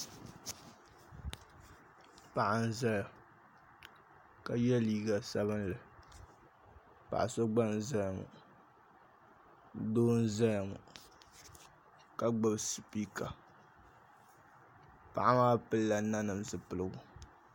Paɣa n ʒɛya ka yɛ liiga sabinli paɣa so gba n ʒɛya ŋo doo n ʒɛya ŋo ka gbubi sipika paɣa maa pilila nanim zipiligu